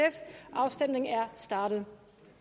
og afstemningen er startet